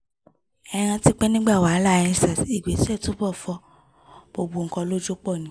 ẹ rántí pé nígbà wàhálàendsars ìgbésẹ̀ ológun túbọ̀ fọ gbogbo nǹkan lójú pọ̀ ni